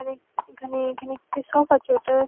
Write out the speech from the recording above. এখানে এখানে এখানে একটি শপ আছে ওটার--